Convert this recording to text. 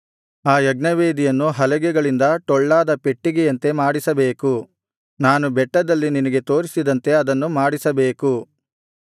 ಆ ಯಜ್ಞವೇದಿಯನ್ನು ಹಲಗೆಗಳಿಂದ ಟೊಳ್ಳಾದ ಪೆಟ್ಟಿಗೆಯಂತೆ ಮಾಡಿಸಬೇಕು ನಾನು ಬೆಟ್ಟದಲ್ಲಿ ನಿನಗೆ ತೋರಿಸಿದಂತೆ ಅದನ್ನು ಮಾಡಿಸಬೇಕು